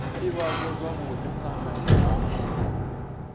ivhadzwa zwavhui phana ha musi